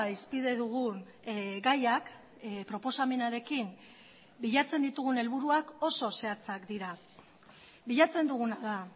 hizpide dugun gaiak proposamenarekin bilatzen ditugun helburuak oso zehatzak dira bilatzen duguna da